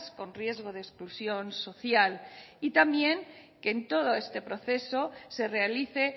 con riesgo de exclusión social y también que en